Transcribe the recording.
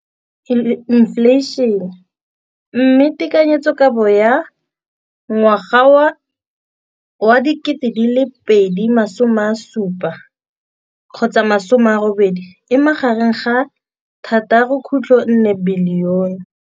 Infleišene, mme tekanyetsokabo ya 2017, 18, e magareng ga R6.4 bilione.